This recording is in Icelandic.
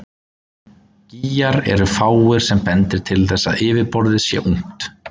Gígar eru fáir sem bendir til þess að yfirborðið sé ungt.